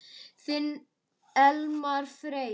Þinn Elmar Freyr.